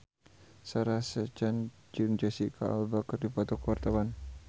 Sarah Sechan jeung Jesicca Alba keur dipoto ku wartawan